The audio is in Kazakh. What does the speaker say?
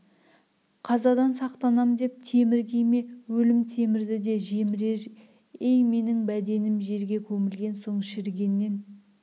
қазадан сақтанам деп темір киме өлім темірді де жемірер ей менің бәденім жерге көмілген соң шірігеннен